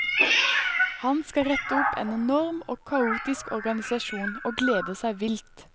Han skal rette opp en enorm og kaotisk organisasjon og gleder seg vilt.